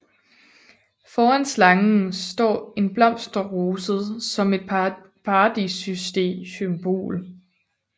Foran slangen står en blomsterroset som et Paradissymbol